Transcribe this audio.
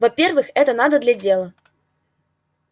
во-первых это надо для дела